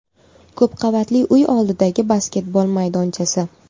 Ko‘pqavatli uy oldidagi basketbol maydonchasi.